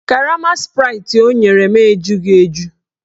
Karama spraịtị ọ nyere m ejughi eju